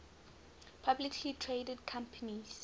publicly traded companies